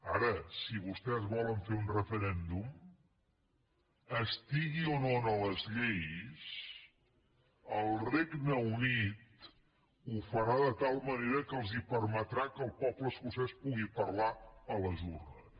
ara si vostès volen fer un referèndum estigui o no en les lleis el regne unit ho farà de tal manera que els permetrà que el poble escocès pugui parlar a les urnes